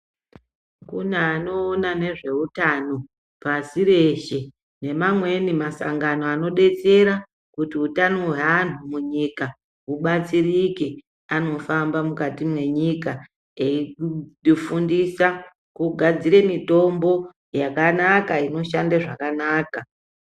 Kune anoona nezveutano pasi reshe, neamweni masangano anodetsera kuti utano hweanhu munyika hubatsirike. Anofamba mukati mwenyika eyifundisa kugadzire mitombo yakanaka, inoshande zvakanaka.